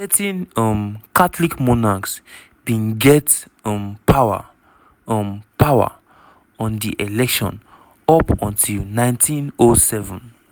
certain um catholic monarchs bin get um power um power on di election up until 1907.